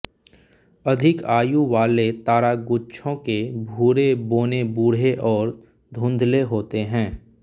अधिक आयु वाले तारागुच्छों के भूरे बौने बूढ़े और धुंधले होते हैं